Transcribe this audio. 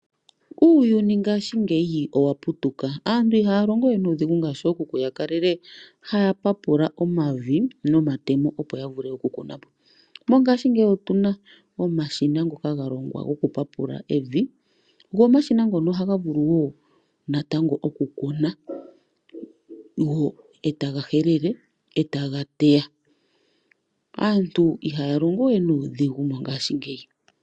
Uuyuni ngaashingeyi owaputuka. Aantu ihaya longowe nuudhigu, ngaashi ookuku taya papula omavi nomatemo opo yavule okukunapo. Mongashingeyi otuna omashina ngoka galongwa gokupapula evi . Go omashina ngono ohaga vulu wo natango okukuna , etaga helele, etaga teya . Aantu ihaya longowe nuudhigu mongashingeyi.